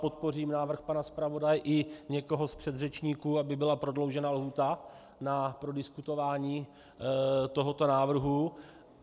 Podpořím návrh pana zpravodaje i někoho z předřečníků, aby byla prodloužena lhůta na prodiskutování tohoto návrhu.